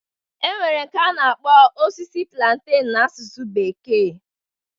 E nwere nke a na-akpọ osisi plantain na asusu bekee.